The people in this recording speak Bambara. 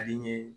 Ale ni